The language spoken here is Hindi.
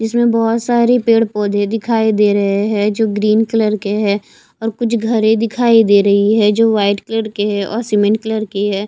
इसमें बहोत सारी पेड़ पौधे दिखाई दे रहें हैं जो ग्रीन कलर के हैं और कुछ घरें दिखाई दे रहीं हैं जो व्हाइट कलर के हैं और सीमेंट कलर की हैं।